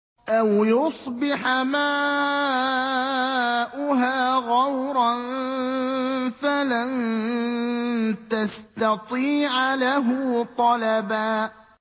أَوْ يُصْبِحَ مَاؤُهَا غَوْرًا فَلَن تَسْتَطِيعَ لَهُ طَلَبًا